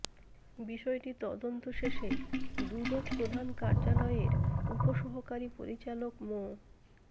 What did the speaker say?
বিষয়টি তদন্ত শেষে দুদক প্রধান কার্যালয়ের উপসহকারী পরিচালক মো